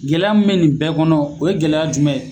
Gɛlɛya min bɛ nin bɛɛ kɔnɔ, o ye gɛlɛya jumɛn.